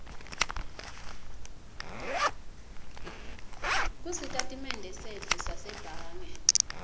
kusitatimende setfu sasebhange